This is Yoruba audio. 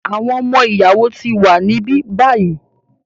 Àwọn ọmọ-ìyàwó ti wà níbí báyìí.